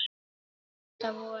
Þetta voru